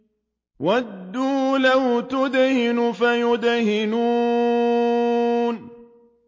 وَدُّوا لَوْ تُدْهِنُ فَيُدْهِنُونَ